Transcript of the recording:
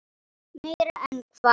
Meira en hvað?